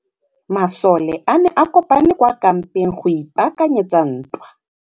Masole a ne a kopane kwa kampeng go ipaakanyetsa ntwa.